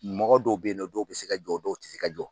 Mɔgɔ dɔw bɛ yen nɔ, dɔw bɛ se ka jɔ, dɔw tɛ se ka jɔ.